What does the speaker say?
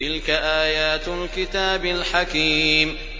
تِلْكَ آيَاتُ الْكِتَابِ الْحَكِيمِ